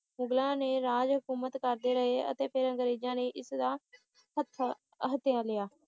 ਮੁਗਲ ਨੇ ਰਾਜ ਹਕੂਮਤ ਕਰਦੇ ਰਹੇ ਅਤੇ ਫੇਰ ਅੰਗ੍ਰੇਜਾਂ ਨੇ ਇਸਦਾ ਹੱਥਾ`ਹੱਥਿਆ ਲਿਆ